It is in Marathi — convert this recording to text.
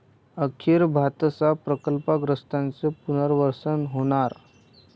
अखेर भातसा प्रकल्पग्रस्तांचं पुनर्वसन होणार!